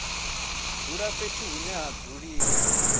dzula fhethu hune ha dzuliwa